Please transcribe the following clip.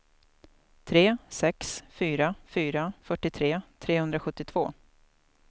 tre sex fyra fyra fyrtiotre trehundrasjuttiotvå